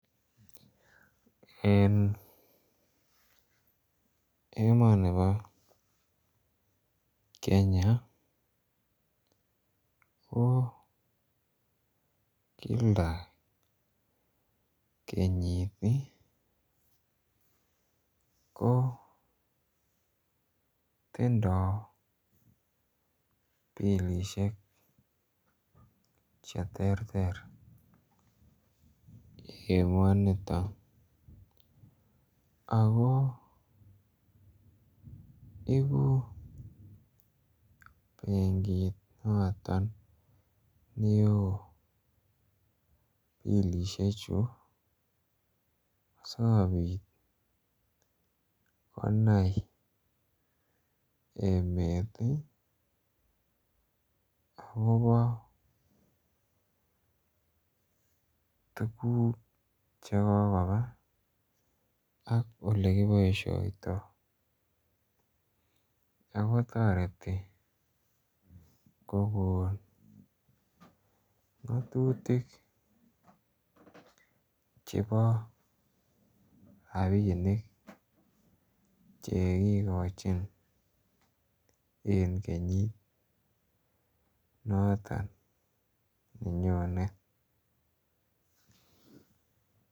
En emoni bo Kenya ko kila kenyit kotindoi bilisiek Che terter emonito ako ibu benkit noton neo bilisiechu asikobit konai emet akobo Che kokoba ak Ole kiboisioto ako toreteti kogon ngatutik chebo rabinik Che kigochin en kenyit noton nenyone